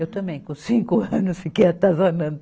Eu também, com cinco anos, fiquei atazanando.